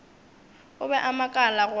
o be a makala gore